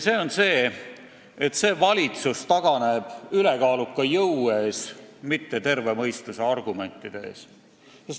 Nimelt nii, et valitsus taganeb ülekaaluka jõu ees, mitte terve mõistuse argumentide ees.